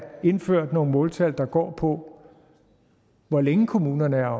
indført nogle måltal der går på hvor længe kommunerne er